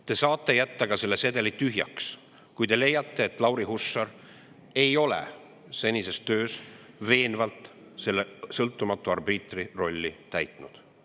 Te saate jätta ka selle sedeli tühjaks, kui te leiate, et Lauri Hussar ei ole senises töös sõltumatu arbiitri rolli veenvalt täitnud.